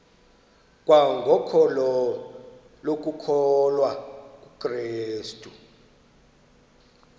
kwangokholo lokukholwa kukrestu